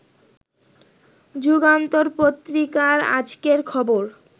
যুগান্তর পত্রিকার আজকের খবর